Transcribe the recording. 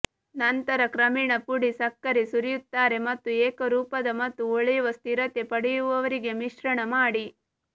ನಂತರ ಕ್ರಮೇಣ ಪುಡಿ ಸಕ್ಕರೆ ಸುರಿಯುತ್ತಾರೆ ಮತ್ತು ಏಕರೂಪದ ಮತ್ತು ಹೊಳೆಯುವ ಸ್ಥಿರತೆ ಪಡೆಯುವವರೆಗೆ ಮಿಶ್ರಣ ಮಾಡಿ